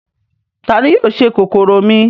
Ta ni yóò se kòkòrò mi?